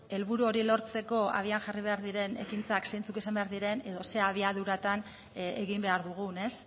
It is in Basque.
helburu hori lortzeko abian jarri behar diren ekintzak zeintzuk izan behar diren edo zer abiaduratan egin behar dugun ez